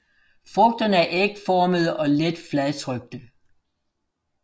Frugterne er ægformede og let fladtrykte